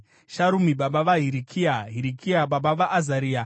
Sharumi baba vaHirikia, Hirikia baba vaAzaria,